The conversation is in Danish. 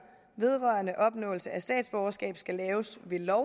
vedrørende opnåelse af statsborgerskab skal laves ved lov